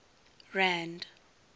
rand